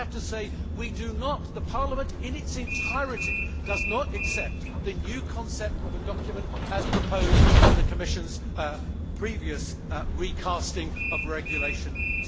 I have to say we do not the Parliament in its entirety does not accept the new concept of a document as proposed in the Commission's previous recasting of Regulation No